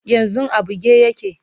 yanzun a buge yake